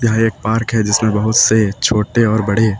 यह एक पार्क है जिसमें बहुत से छोटे और बड़े--